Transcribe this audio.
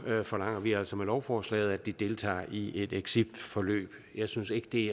forlanger vi altså med lovforslaget at de deltager i et exitforløb jeg synes ikke det